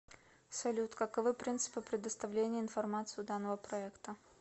салют каковы принципы предоставления информации у данного проекта